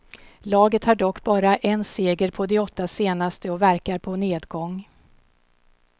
Laget har dock bara en seger på de åtta senaste och verkar på nedgång.